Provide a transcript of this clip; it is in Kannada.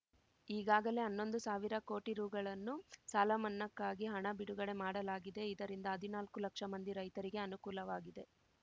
ಈಗಾಗಲೇ ಹನ್ನೊಂದು ಸಾವಿರ ಕೋಟಿ ರೂ ಗಳನ್ನು ಸಾಲಮನ್ನಾಕ್ಕಾಗಿ ಹಣ ಬಿಡುಗಡೆ ಮಾಡಲಾಗಿದೆ ಇದರಿಂದ ಹದಿನಾಲ್ಕು ಲಕ್ಷ ಮಂದಿ ರೈತರಿಗೆ ಅನುಕೂಲವಾಗಿದೆ